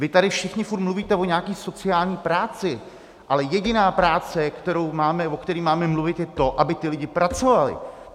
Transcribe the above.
Vy tady všichni furt mluvíte o nějaké sociální práci, ale jediná práce, o které máme mluvit, je to, aby ti lidé pracovali.